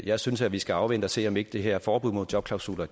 jeg synes vi skal afvente at se om ikke det her forbud mod jobklausuler